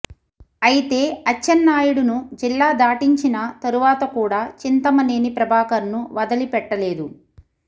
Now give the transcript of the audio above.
అయితే అచ్చెన్నాయుడును జిల్లా దాటించిన తరువాత కూడా చింతమనేని ప్రభాకర్ను వదిలిపెట్టలేదు